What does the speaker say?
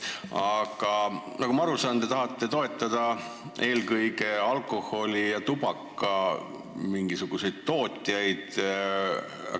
Aga nagu ma aru saan, te tahate toetada eelkõige alkoholi- ja tubakatootjaid.